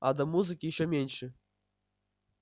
а до музыки ещё меньше